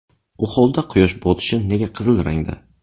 U holda quyosh botishi nega qizil rangda?